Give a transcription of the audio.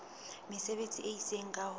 mesebetsi e itseng ka ho